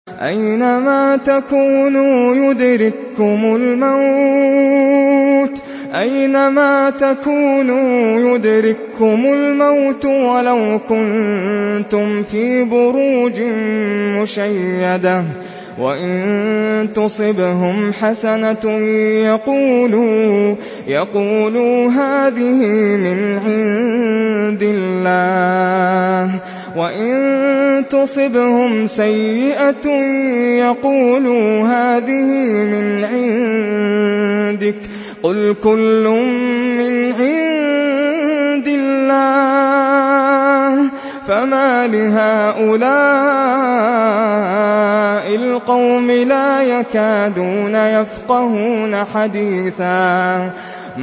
أَيْنَمَا تَكُونُوا يُدْرِككُّمُ الْمَوْتُ وَلَوْ كُنتُمْ فِي بُرُوجٍ مُّشَيَّدَةٍ ۗ وَإِن تُصِبْهُمْ حَسَنَةٌ يَقُولُوا هَٰذِهِ مِنْ عِندِ اللَّهِ ۖ وَإِن تُصِبْهُمْ سَيِّئَةٌ يَقُولُوا هَٰذِهِ مِنْ عِندِكَ ۚ قُلْ كُلٌّ مِّنْ عِندِ اللَّهِ ۖ فَمَالِ هَٰؤُلَاءِ الْقَوْمِ لَا يَكَادُونَ يَفْقَهُونَ حَدِيثًا